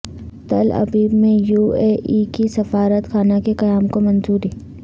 تل ابیب میں U A E کے سفارت خانہ کے قیام کو منظوری